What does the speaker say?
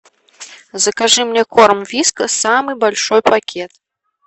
закажи мне корм вискас самый большой пакет